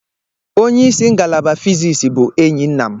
Onye isi ngalaba physics bụ enyi nna m.